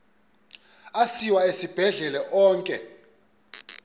asiwa esibhedlele onke